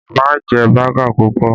Má jẹ baga pupọ!